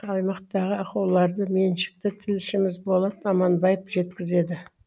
аймақтағы ахуаларды меншікті тілшіміз болат аманбаев жеткізеді